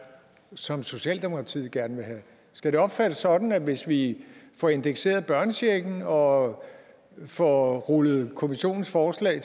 som socialdemokratiet gerne vil have skal det opfattes sådan at hvis vi får indekseret børnechecken og får rullet kommissionens forslag